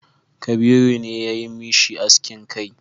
Kabiru ne ya yi mishi askin kai